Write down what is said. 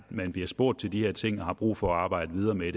man bliver spurgt til de her ting og har brug for at arbejde videre med